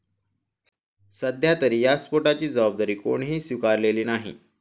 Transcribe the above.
सध्यातरी या स्फोटाची जबाबदारी कोणीही स्वीकारलेली नाही.